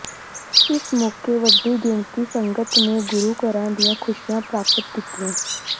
ਇਸ ਮੌਕੇ ਵੱਡੀ ਗਿਣਤੀ ਸੰਗਤ ਨੇ ਗੁਰੂ ਘਰਾਂ ਦੀਆਂ ਖੁਸ਼ੀਆਂ ਪ੍ਰਾਪਤ ਕੀਤੀਆਂ